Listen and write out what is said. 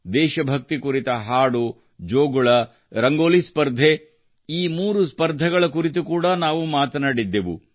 ದೇಶ ಭಕ್ತಿ ಕುರಿತ ಹಾಡು ಜೋಗುಳ ಮತ್ತು ರಂಗೋಲಿ ಸ್ಪರ್ಧೆ ಈ ಮೂರು ಸ್ಪರ್ಧೆಗಳ ಕುರಿತು ಕೂಡಾ ನಾವು ಮಾತನಾಡಿದ್ದೆವು